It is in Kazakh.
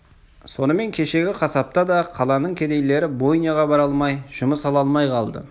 сонымен кешегі қасапта да қаланың кедейлері бойняға бара алмай жұмыс ала алмай қалды